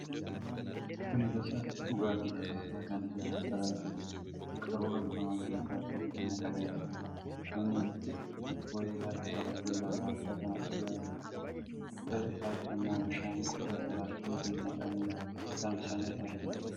Kuni gosa dhugaatii lallaafaa kan ta'e, Spiraayitii jedhama. Qaruuraa bifa magariisa qabutti naqamee jira. Namni wayii harkaan qabatee lallaafaa kana dhugaa jira. Jala isaatti ammoo bishaan qodaa pilaastikaatti naqamee saamsamee argama.